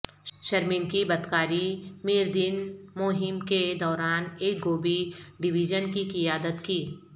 شرمین کی بدکاری میردین مہم کے دوران ایک گوبھی ڈویژن کی قیادت کی